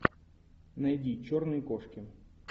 найди черные кошки